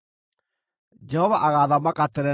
Jehova agaathamaka tene na tene.”